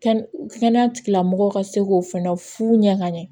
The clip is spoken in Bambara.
Kɛnɛ kɛnɛya tigilamɔgɔw ka se k'o fɛnɛ fu ɲɛ ka ɲɛ